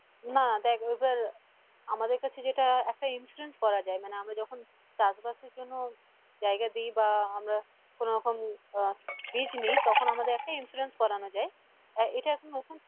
না দেখ এবার আমাদের কাছে যেটা একটা insurance করা যাই মানে আমরা যখন চাষ বাসের জন্য জায়গা দি বা আমরা কোনোরকম আহ বীজ নি তখন আমাদের একটা insurance করানো যাই এটা এখন নতুন